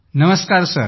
नमस्कार सर